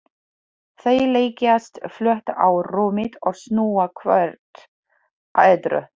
Þau leggjast flöt á rúmið og snúa hvort að öðru.